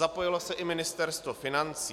Zapojilo se i Ministerstvo financí.